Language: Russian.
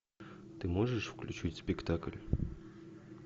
ты можешь включить спектакль